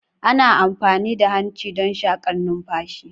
Ana amfani da hanci don shakan numfashi.